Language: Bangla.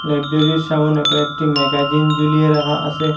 সামনে কয়েকটি ম্যাগাজিন জুলিয়ে রাকা আসে ।